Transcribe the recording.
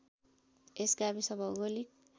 यस गाविस भौगोलिक